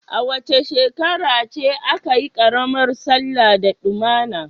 Wace shekara ce aka yi karamar sallah da damuna?